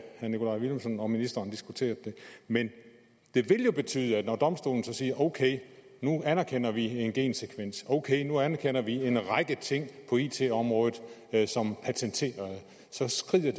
herre nikolaj villumsen og ministeren diskuterede det men det vil jo betyde at når domstolen siger okay nu anerkender vi en gensekvens okay nu anerkender vi en række ting på it området som patenterede så skrider